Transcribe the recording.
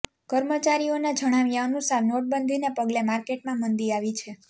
કર્મચારીઓના જણાવ્યા અનુસાર નોટબંધીને પગલે માર્કેટમા મંદી આવી છે